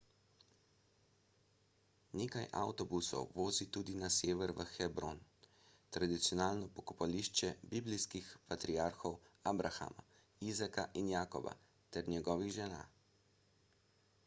nekaj avtobusov vozi tudi na sever v hebron tradicionalno pokopališče biblijskih patriarhov abrahama izaka in jakoba ter njegovih žena